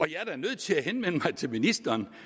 jeg er da nødt til at henvende mig til ministeren